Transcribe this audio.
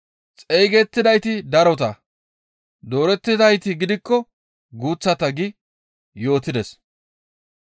«Xeygettidayti darota; doorettidayti gidikko guuththata» gi yootides.